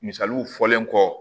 Misaliw fɔlen kɔ